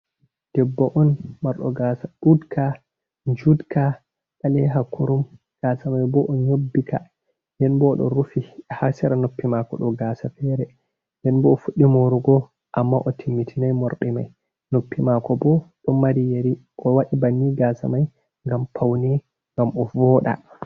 Debbo on marɗo gasa duɗka judka ɓaleha kurum, gasa mai bo o nyobbika denbo o ɗo rufi hasera noppi mako ɗo, gasa fere denbo o fuɗɗi morugo amma o timmitinai morɗi mai noppi mako bo ɗon mari yeri o waɗi banni gasa mai ngam pauni ngam o voda.